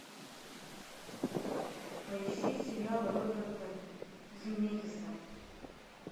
поищи сериалы роберта земекиса